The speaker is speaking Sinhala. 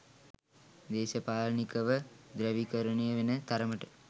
දේශපාලනිකව ධ්‍රැවීකරණය වෙන තරමට